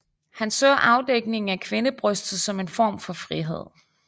Han anså afdækningen af kvindebrystet som en form for frihed